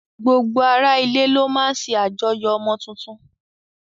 Gbogbo ara ilé ló máa ń ṣe àjọyọ̀ ọmọ tuntun